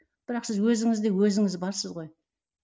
бірақ сіз өзіңізде өзіңіз барсыз ғой